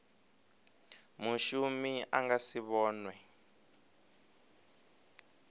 mushumi a nga si vhonwe